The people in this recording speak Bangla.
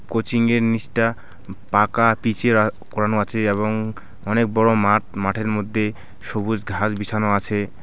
কোচিংয়ের নীচটা পাকা পীচের আঃ করানো আছে এবং অনেক বড় মাঠ মাঠের মধ্যে সবুজ ঘাস বিছানো আছে .